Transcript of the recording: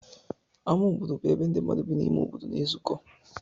Ámá obodo bụ ebe ndị mmadụ bi n'ime obodo na-ezukọ.